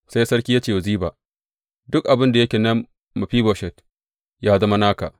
Sai sarki ya ce wa Ziba, Duk abin da yake na Mefiboshet, ya zama naka.